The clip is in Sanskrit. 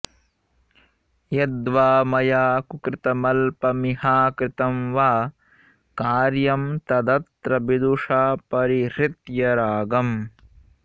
यद्वा मया कुकृतमल्पमिहाकृतं वा कार्यं तदत्र विदुषा परिहृत्य रागम्